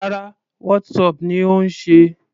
Rárá, Whatsapp ni ó ń ṣe.